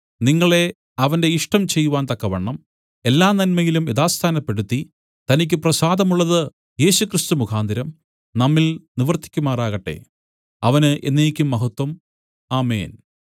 നിങ്ങളെ അവന്റെ ഇഷ്ടം ചെയ്‌വാൻ തക്കവണ്ണം എല്ലാനന്മയിലും യഥാസ്ഥാനപ്പെടുത്തി തനിക്കു പ്രസാദമുള്ളതു യേശുക്രിസ്തു മുഖാന്തരം നമ്മിൽ നിവർത്തിയ്ക്കുമാറാകട്ടെ അവന് എന്നേക്കും മഹത്വം ആമേൻ